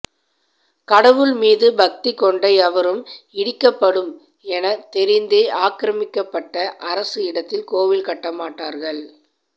கடவுள் மீது பக்தி கொண்ட எவரும் இடிக்கப்படும் என தெரிந்தே ஆக்கிரமிக்கப்பட்ட அரசு இடத்தில் கோவில் கட்டமாட்டார்கள்